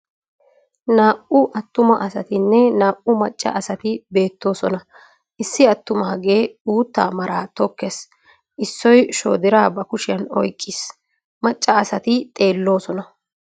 Naa"u attuma asatinne naa"u macca asati beettoosona. Issi attumagee uuttaa maraa tokkees. Issoy shoodiraa ba kushiyan oyqiis, macca asati xeeoosona.